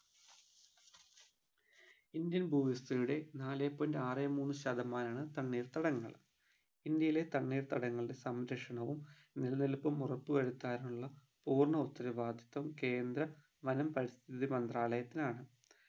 Indian ഭൂവിസ്തൃതിയുടെ നാലേ point ആറേ മൂന്ന് ശതമാനാണ് തണ്ണീർത്തടങ്ങൾ ഇന്ത്യയിലെ തണ്ണീർത്തടങ്ങളുടെ സംരക്ഷണവും നിലനിൽപ്പും ഉറപ്പു വരുത്താനുള്ള പൂർണ്ണ ഉത്തരവാദിത്ത്വം കേന്ദ്ര വനം പരിസ്ഥിതി മന്ത്രാലയത്തിനാണ്